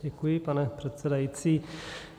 Děkuji, pane předsedající.